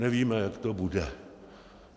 Nevíme, jak to bude.